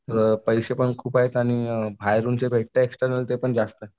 अ पैसेपण खूप आहेत आणि बाहेरून जे भेटतं एक्स्टर्नल ते पण जास्त